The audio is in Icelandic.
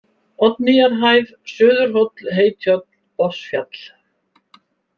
Oddnýjarhæð, Suðurhóll, Heytjörn, Botnsfjall